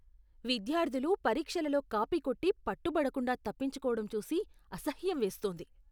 విద్యార్థులు పరీక్షలలో కాపీ కొట్టి పట్టుబడకుండా తప్పించుకోడం చూసి అసహ్యం వేస్తోంది.